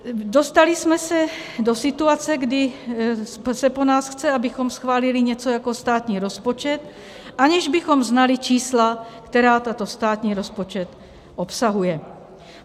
Dostali jsme se do situace, kdy se po nás chce, abychom schválili něco jako státní rozpočet, aniž bychom znali čísla, která tento státní rozpočet obsahuje.